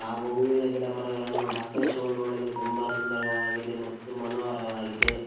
ಹಾಗು ಹೂವಿನ ಗಿಡಮರಗಳನ್ನು ಆಕಾಶವು ನೋಡಲು ತುಂಬ ಸುಂದರವಾಗಿದೆ ಮತ್ತು ಮನೋಹರವಾಗಿದೆ.